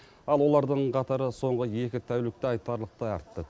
ал олардың қатары соңғы екі тәулікте айтарлықтай артты